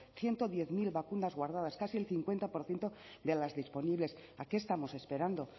ciento diez mil vacunas guardadas casi el cincuenta por ciento de las disponibles a qué estamos esperando